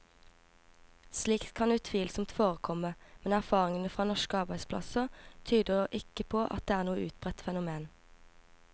Slikt kan utvilsomt forekomme, men erfaringen fra norske arbeidsplasser tyder ikke på at det er noe utbredt fenomen.